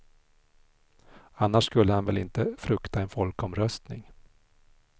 Annars skulle han väl inte frukta en folkomröstning.